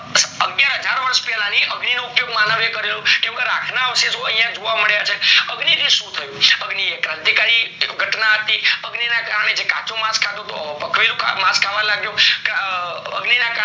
બે હાજર વર્ષ પહેલા અગ્નિ નો ઉપયોગ માનવ એ કર્યો કેમ કે રાખ ના અવશેષો અહિયાં જોવા મળ્યા છે અગ્નિ થી શું ટ્યુ છે ક્રાંતિ કરી ઘટના હતી અગ્નિ ના કરને જે કાચું માસ ખાતું હતું તો પકવેલું માસ ખાવા લાગ્યો કે અ